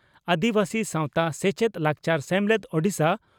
ᱟᱹᱫᱤᱵᱟᱹᱥᱤ ᱥᱟᱣᱛᱟ ᱥᱮᱪᱮᱫᱼᱞᱟᱠᱪᱟᱨ ᱥᱮᱢᱞᱮᱫ (ᱳᱰᱤᱥᱟ)